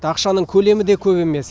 ақшаның көлемі де көп емес